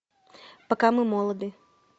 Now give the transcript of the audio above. пока мы молоды